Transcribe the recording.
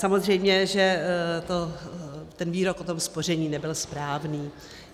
Samozřejmě že ten výrok o tom spoření nebyl správný.